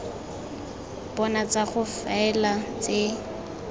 bona tsa go faela tse